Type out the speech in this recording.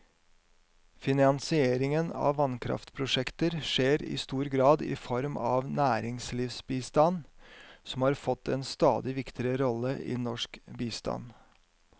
Finansiering av vannkraftprosjekter skjer i stor grad i form av næringslivsbistand, som har fått en stadig viktigere rolle i norsk bistand.